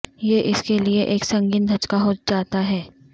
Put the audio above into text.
یہ اس کے لئے ایک سنگین دھچکا ہو جاتا ہے